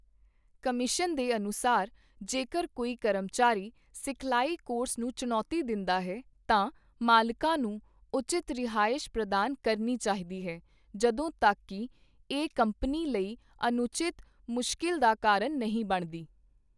Commission ਦੇ ਅਨੁਸਾਰ, ਜੇਕਰ ਕੋਈ ਕਰਮਚਾਰੀ ਸਿਖਲਾਈ ਕੋਰਸ ਨੂੰ ਚੁਣੌਤੀ ਦਿੰਦਾ ਹੈ, ਤਾਂ ਮਾਲਕਾਂ ਨੂੰ ਉਚਿਤ ਰਿਹਾਇਸ਼ ਪ੍ਰਦਾਨ ਕਰਨੀ ਚਾਹੀਦੀ ਹੈ, ਜਦੋਂ ਤੱਕ ਕਿ ਇਹ ਕੰਪਨੀ ਲਈ ਅਨੁਚਿਤ ਮੁਸ਼ਕਿਲ ਦਾ ਕਾਰਨ ਨਹੀਂ ਬਣਦੀ।